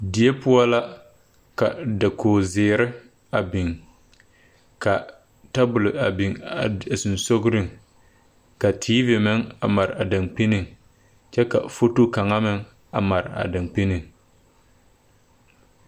Die poɔ la ka dakoge zeere a biŋ ka tabole a biŋ a seŋsugliŋ be ka teevi meŋ a mare a dankpiniŋ kyɛ ka foto kaŋa meŋ a mare a dankpiniŋ.